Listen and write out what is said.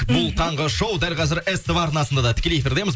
бұл таңғы шоу дәл қазір ств арнасында да тікелей эфирдеміз